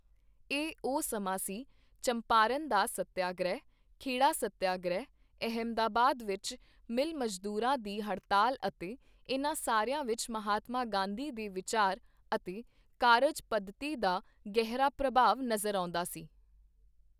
ਇਹੀ ਉਹ ਸਮਾਂ ਸੀ, ਚੰਪਾਰਣ ਦਾ ਸੱਤਿਆਗ੍ਰਹਿ, ਖੇੜਾ ਸੱਤਿਆਗ੍ਰਹਿ, ਅਹਿਮਦਾਬਾਦ ਵਿੱਚ ਮਿਲ ਮਜ਼ਦੂਰਾਂ ਦੀ ਹੜਤਾਲ ਅਤੇ ਇਨ੍ਹਾਂ ਸਾਰਿਆਂ ਵਿੱਚ ਮਹਾਤਮਾ ਗਾਂਧੀ ਦੇ ਵਿਚਾਰ ਅਤੇ ਕਾਰਜ ਪੱਧਤੀ ਦਾ ਗਹਿਰਾ ਪ੍ਰਭਾਵ ਨਜ਼ਰ ਆਉਂਦਾ ਸੀ।